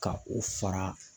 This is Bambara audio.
Ka o fara.